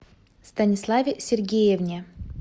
станиславе сергеевне